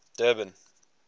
durban